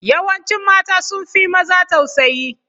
Yawancin mata sun fi maza tausayi.